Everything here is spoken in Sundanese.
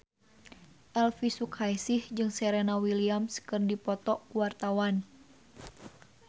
Elvy Sukaesih jeung Serena Williams keur dipoto ku wartawan